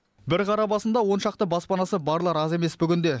бір қара басында оншақты баспанасы барлар аз емес бүгінде